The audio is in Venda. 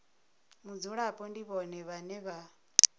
mudzulapo ndi vhone vhane vha